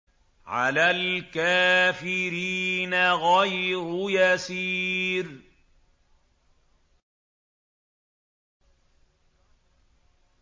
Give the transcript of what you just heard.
عَلَى الْكَافِرِينَ غَيْرُ يَسِيرٍ